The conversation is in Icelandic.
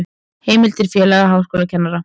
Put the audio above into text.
Heimildir Félag háskólakennara.